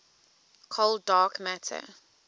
cold dark matter